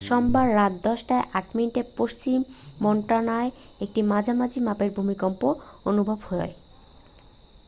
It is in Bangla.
সোমবার রাত 10 টা 8 মিনিটে পশ্চিম মন্টানায় একটি মাঝারি মাপের ভূমিকম্প অনুভূত হয়